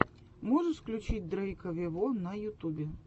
можешь включить дрейка вево на ютубе